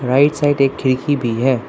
Right side एक खिड़की भी है।